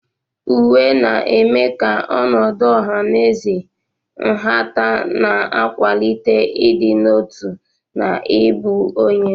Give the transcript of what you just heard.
Uwe na-eme ka ọnọdụ ọha na eze nhata, na-akwalite ịdị n'otu na ịbụ onye.